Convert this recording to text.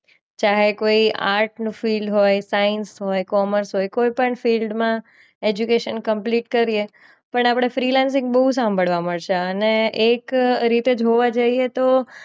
ચાહે કોઈ art field હોય, સાઇન્સ હોય, કોમર્સ હોય, કોઈ પણ ફિલ્ડમાં એજ્યુકેશન કમ્પ્લીટ કરીએ પણ આપણે ફ્રી લાન્સિંગ બહુ સાંભળવા મળશે અને એક રીતે જોવા જઈએ તો